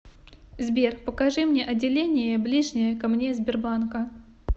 сбер покажи мне отделение ближнее ко мне сбербанка